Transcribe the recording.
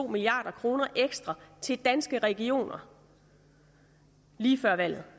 milliard kroner ekstra til danske regioner lige før valget